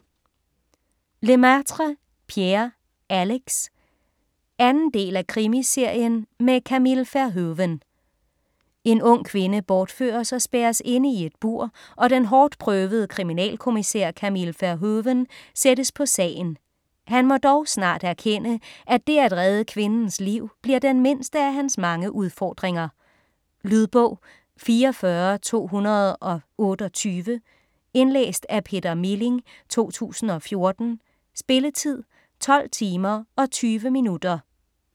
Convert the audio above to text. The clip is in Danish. Lemaitre, Pierre: Alex 2. del af Krimiserien med Camille Verhoeven. En ung kvinde bortføres og spærres inde i et bur, og den hårdtprøvede kriminalkommissær Camille Verhoeven sættes på sagen. Han må dog snart erkende, at dét at redde kvindens liv bliver den mindste af hans mange udfordringer. Lydbog 44228 Indlæst af Peter Milling, 2014. Spilletid: 12 timer, 20 minutter.